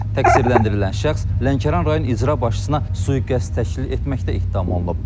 Təqsirləndirilən şəxs Lənkəran rayon icra başçısına sui-qəsd təşkil etməkdə ittiham olunub.